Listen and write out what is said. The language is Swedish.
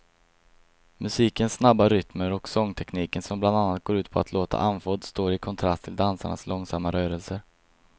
Musikens snabba rytmer och sångtekniken som bland annat går ut på att låta andfådd står i kontrast till dansarnas långsamma rörelser.